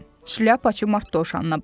Şlyapaçı Mart Dovşanına baxdı.